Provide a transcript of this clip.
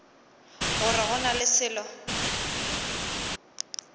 gore go na le selo